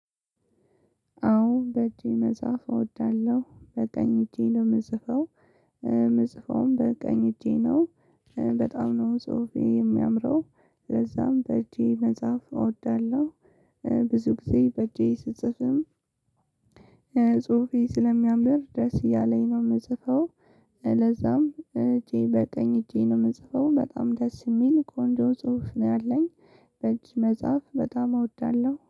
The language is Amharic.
አዎ በእጄ መጻፍ እወዳለሁ በቀኝ እጄ ነው የምጽፈው ምጽፈውም በቀኝ እጄ ነው በጣም ነው ጽሁፌ የሚያምረው ለዛም በእጄ መጽሐፍ እወዳለሁ። ብዙ ጊዜ በእጄ ስጽፍም ጽሁፌ ስለሚያምር ደስ እያለኝ ነው የምጽፈው። ለዛም እጄ በቀኝ እጄ ነው የምጽፈው በጣም ደስ የሚል ቆንጆ ጽሁፍ ነው ያለኝ። በእጅ መጻፍ በጣም እወዳለሁ